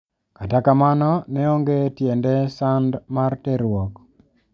Kata kamano ne onge tiende sand mar terruok.